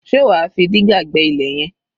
Ṣe wà á fi dígà gbẹ́ ilẹ̀ yẹn?